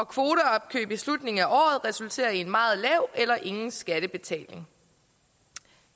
kvoteopkøb i slutningen af året resulterer i en meget lav eller ingen skattebetaling